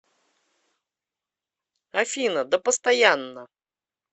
афина да постоянно